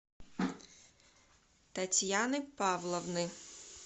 татьяны павловны